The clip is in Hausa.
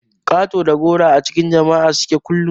Ƙato da goro a cikin jama'a suke kullun.